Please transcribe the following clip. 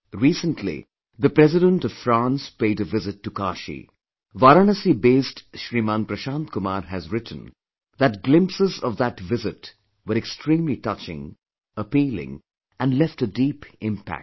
Recently, the President of France paid a visit to Kashi, Varanasi based Shriman Prashant Kumar has written that glimpses of that visit were extremely touching, appealing & left a deep impact